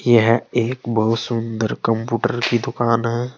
यह एक बहुत सुंदर कंप्यूटर की दुकान है।